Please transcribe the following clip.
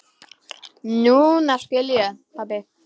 Núna skil ég, pabbi.